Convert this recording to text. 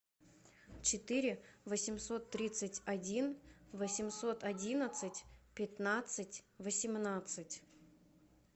четыре восемьсот тридцать один восемьсот одиннадцать пятнадцать восемнадцать